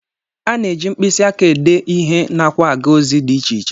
A na-eji mkpịsị aka ede ihe nakwa aga ozi dị iche iche